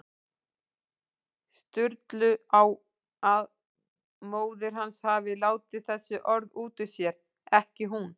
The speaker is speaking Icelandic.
Sturlu á að móðir hans hafi látið þessi orð út úr sér, ekki hún.